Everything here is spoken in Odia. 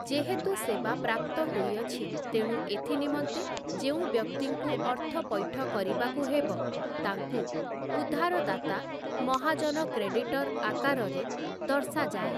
ଯେହେତୁ ସେବା ପ୍ରାପ୍ତ ହୋଇଅଛି ତେଣୁ ଏଥିନିମନ୍ତେ ଯେଉଁ ବ୍ୟକ୍ତିଙ୍କୁ ଅର୍ଥପୈଠ କରିବାକୁ ହେବ ତାଙ୍କୁ ଉଧାରଦାତା ମହାଜନ କ୍ରେଡିଟର୍ ଆକାରରେ ଦର୍ଶାଯାଏ ।